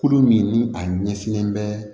Kulo min ni a ɲɛsinnen bɛ